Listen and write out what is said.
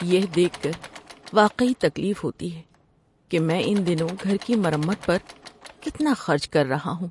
یہ دیکھ کر واقعی تکلیف ہوتی ہے کہ میں ان دنوں گھر کی مرمت پر کتنا خرچ کر رہا ہوں۔